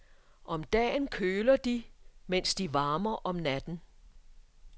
Om dagen køler de, mens de varmer om natten.